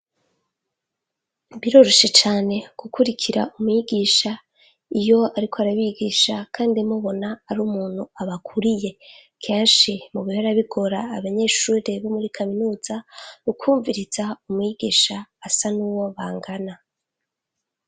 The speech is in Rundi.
Biroroshe cane gukurikira umwigisha iyo ariko arabigisha kandi mubona ari umuntu abakuriye. Kenshi mu bihora bigora abanyeshure bo muri kaminuza, ukwumviriza umwigisha asa n'uwo bangana.